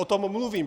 O tom mluvím.